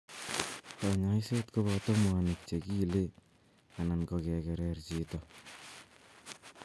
Kanyaiset kopata mwanik che kiile anan ko kekerer chito